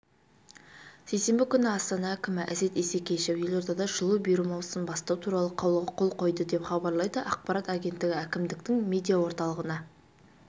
сейсенбі күні астана әкімі әсет исекешев елордада жылу беру маусымын бастау туралы қаулыға қол қойды деп хабарлайды ақпарат агенттігі әкімдіктің медиаорталығына